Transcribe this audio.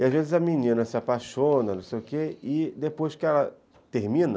E, às vezes, a menina se apaixona e não sei o que, e depois que ela termina...